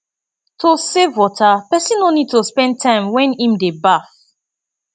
to save water person no need to spend time wen im dey baf